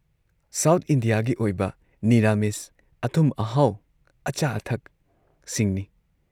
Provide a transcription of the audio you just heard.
South ꯏꯟꯗꯤꯌꯥꯒꯤ ꯑꯣꯏꯕ ꯅꯤꯔꯥꯃꯤꯁ, ꯑꯊꯨꯝ-ꯑꯍꯥꯎ ꯑꯆꯥ-ꯑꯊꯛꯁꯤꯡꯅꯤ ꯫